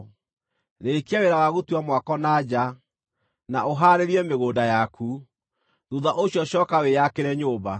Rĩĩkia wĩra wa gũtua mwako na nja, na ũhaarĩrie mĩgũnda yaku; thuutha ũcio cooka wĩakĩre nyũmba.